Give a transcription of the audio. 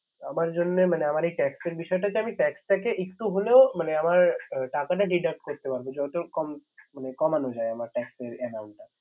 আমার জন্যে মানে আমার Tax এর বিষয়টাকে Tax থেকে একটু হলেও আমার টাকাটা Deduct করতে পারব । যত কম মানে কমানো যায় আমার এই Tax এর Amount টা